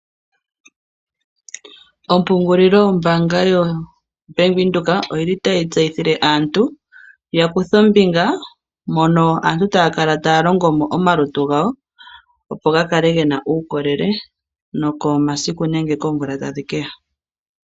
Ompungulilo mbaanga yaBank Windhoek oyili tayi tseyithile aantu yakuuthe ombinga moka aantu taya kala taya longo mo omalutu gawo opo gakale gena uukolele nokomasiku nenge koomvula tadhi keya.